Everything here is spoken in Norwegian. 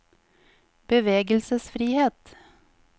bevegelsesfrihet